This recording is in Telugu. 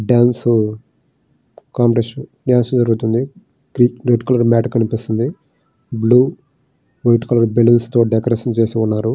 టర్మ్స్ కంపిటేషన్ బాగా జరుగుతున్నది బయట red colour blue white colour balloons తో డెకరేట్ చేసారు.